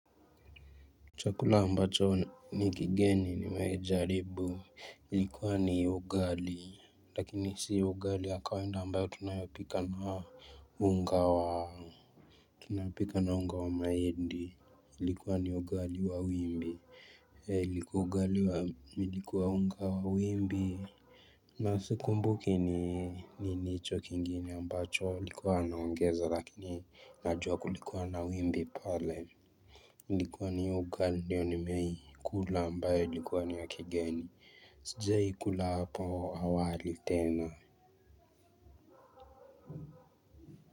Chakula ambacho ni kigeni nimewahijaribu ilikuwa ni ugali lakini si ugali wa kawaida ambayo tunayopika na unga wa mahindi. Ilikuwa ni ugali wa wimbi likuwa ugali wa ilikuwa unga wa wimbi. Na sikumbuki ni nini hicho kingine ambacho ilikuwa wanaongeza lakini najua kulikuwa na wimbi pale. Ilikuwa ni hiyo ugali ndiyo nimeikula ambayo ilikuwa ni wa kigeni. Sijai kula hapo awali tena.